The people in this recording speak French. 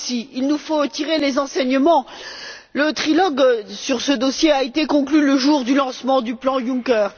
Il nous faut aussi tirer les enseignements le trilogue sur ce dossier a été conclu le jour du lancement du plan Juncker.